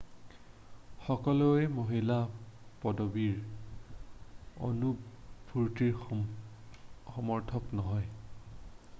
সকলোৱেই মহিলা পদবীৰ অন্তৰ্ভুক্তিৰ সমৰ্থক নহয়